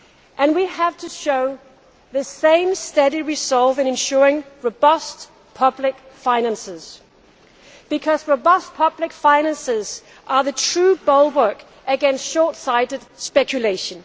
And we have to show the same steady resolve in ensuring robust public finances, because robust public finances are the true bulwark against short sighted speculation.